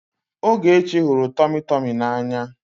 Ogechi hụrụ tọmị tọmị n'anya.